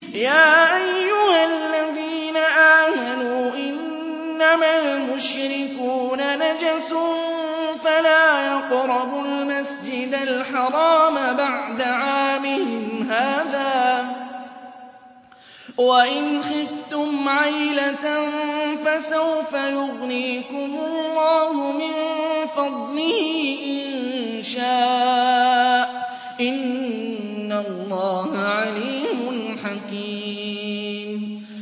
يَا أَيُّهَا الَّذِينَ آمَنُوا إِنَّمَا الْمُشْرِكُونَ نَجَسٌ فَلَا يَقْرَبُوا الْمَسْجِدَ الْحَرَامَ بَعْدَ عَامِهِمْ هَٰذَا ۚ وَإِنْ خِفْتُمْ عَيْلَةً فَسَوْفَ يُغْنِيكُمُ اللَّهُ مِن فَضْلِهِ إِن شَاءَ ۚ إِنَّ اللَّهَ عَلِيمٌ حَكِيمٌ